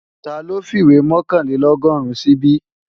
Taló fìwé mọ̀kànlélọ́gọ́rùn síbí?